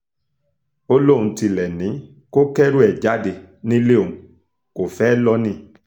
ó lóun tilẹ̀ ti ní kó kẹ́rù ẹ̀ jáde nílé òun kó fẹ́ẹ́ lọ ni